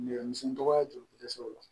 Nɛgɛ misɛnnin dɔgɔya joli dɛsɛ o la